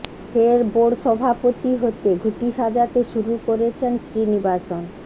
ফের বোর্ড সভাপতি হতে ঘুঁটি সাজাতে শুরু করেছেন শ্রীনিবাসন